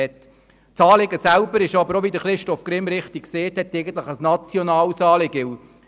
Wie Christoph Grimm richtig gesagt hat, ist das Anliegen eigentlich ein nationales Anliegen.